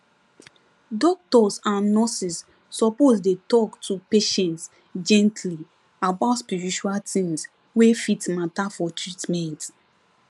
doctors and nurses suppose dey talk to patients gently about spiritual things wey fit matter for treatment